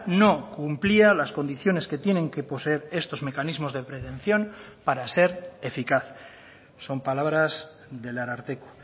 no cumplía las condiciones que tienen que poseer estos mecanismos de prevención para ser eficaz son palabras del ararteko